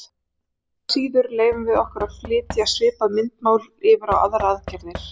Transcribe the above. Engu að síður leyfum við okkur að flytja svipað myndmál yfir á aðrar aðgerðir.